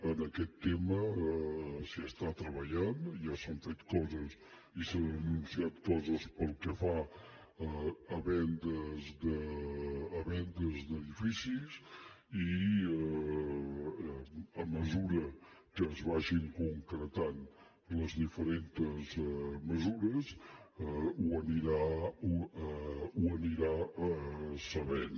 en aquest tema s’hi està treballant ja s’han fet coses i s’han anunciat coses pel que fa a vendes d’edificis i a mesura que es vagin concretant les diferents mesures ho anirà sabent